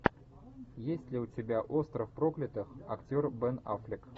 есть ли у тебя остров проклятых актер бен аффлек